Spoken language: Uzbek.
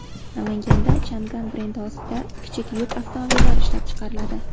Namanganda Changan brendi ostida kichik yuk avtomobillari ishlab chiqariladi.